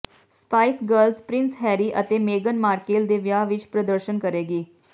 spice Girls Prince Harry ਅਤੇ ਮੇਗਨ Markle ਦੇ ਵਿਆਹ ਵਿਚ ਪ੍ਰਦਰਸ਼ਨ ਕਰੇਗੀ